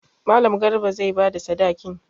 Mallam Garba zai ba da sadakin.